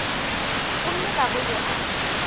gomme ga go yo a